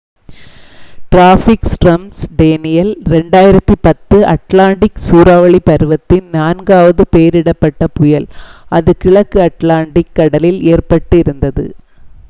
traffic storm Danielle 2010 Atlantic சூறாவளி பருவத்தின் நான்காவது பெயரிடப்பட்ட புயல் அது கிழக்கு அட்லாண்டிக் கடலில் ஏற்பட்டு இருந்தது